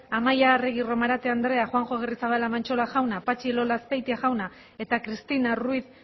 amaia arregi romarate andrea juanjo agirrezabala mantxola jauna patxi elola azpeitia jauna eta cristina ruiz